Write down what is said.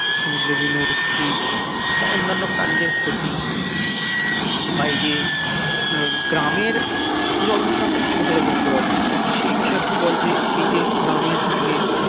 সমুদ্রের বিভিন্ন উদ্ভিদ বা অন্যান্য প্রাণীদের ক্ষতি বা এই যে গ্রামের জল দূষণ টা তুই ভালো বলতে পারবি তো সেই বিষয়ে একটু বল যে এই যে গ্রামের দিকে